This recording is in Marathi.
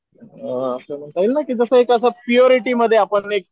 अ असं म्हणता येईल ना जस कि एक असा प्यूअरिटी मध्ये आपण एक